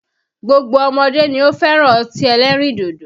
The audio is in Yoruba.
Gbogbo ọmọdé ni ó fẹ́ràn ọtí ẹlẹ́rìndòdò